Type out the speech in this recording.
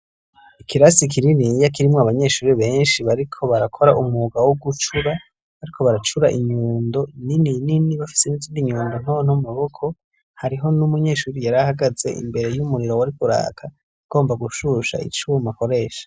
ikirasi kininiya kirimwo abanyeshuri benshi bariko barakora umugwa wo gucura bariko baracura inyundo nini nini bafise nizindi nyundo ntonto mu maboko hariho n'umunyeshuri yari ahagaze imbere y'umuriro wariko uraka agomba gushusha icuma akoresha